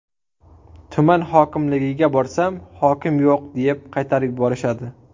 Tuman hokimligiga borsam, hokim yo‘q deb qaytarib yuborishadi.